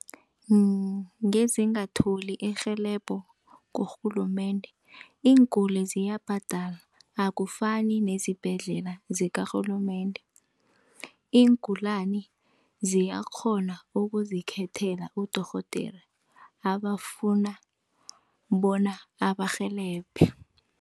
Ngezingatholi irhelebho kurhulumende, iinguli ziyabhadala akufani nezibhedlela zikarhulumende. Iingulani ziyakghona ukuzikhethela udorhodere abafuna bona abarhelebhe.